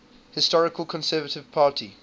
historical conservative party